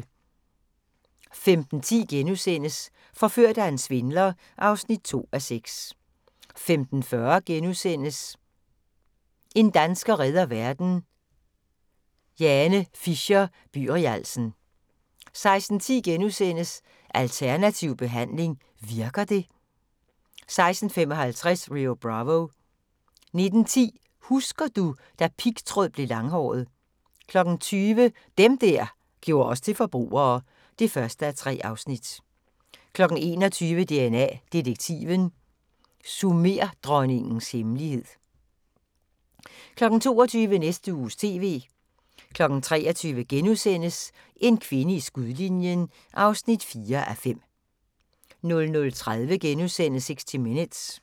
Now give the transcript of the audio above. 15:10: Forført af en svindler (2:6)* 15:40: En dansker redder verden – Jane Fisher-Byrialsen (1:6)* 16:10: Alternativ behandling – virker det? (2:6)* 16:55: Rio Bravo 19:10: Husker du - da pigtråd blev langhåret 20:00: Dem der gjorde os til forbrugere (1:3) 21:00: DNA Detektiven – Sumerdronningens hemmelighed 22:00: Næste Uges TV 23:00: En kvinde i skudlinjen (4:5)* 00:30: 60 Minutes *